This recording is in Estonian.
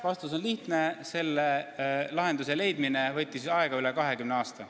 Vastus on lihtne: selle lahenduse leidmine võttis aega üle 20 aasta.